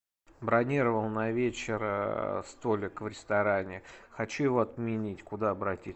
бронировал на вечер столик в ресторане хочу его отменить куда обратиться